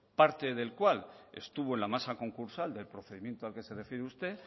parte del cual estuvo en la masa concursal del procedimiento al que se refiere usted